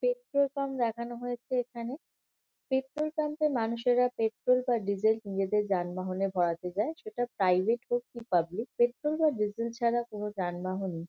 petrol pump দেখানো হয়েছে এখানে পেট্রোল পাম্প এ মানুষেরা পেট্রোল বা ডিজেল নিজেদের যানবাহনে ভরাতে যায় সেটা প্রাইভেট হোক বা পাবলিক পেট্রোল বা ডিজেল ছাড়া কোনো যানবাহনই--